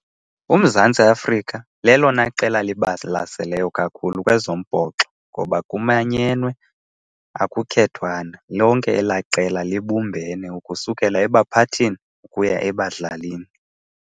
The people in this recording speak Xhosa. UMzantsi Afrika lelona qela libalaseleyo kakhulu kwezombhoxo ngoba kumanyenwe akukhethwana. Lonke elaa qela libumbane, ukusukela ebaphathini ukuya ebadlalini.